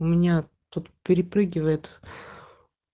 у меня тут перепрыгивает